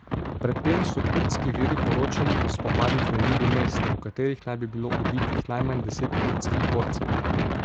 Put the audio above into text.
Pred tem so kurdski viri poročali o spopadih na jugu mesta, v katerih naj bi bilo ubitih najmanj deset kurdskih borcev.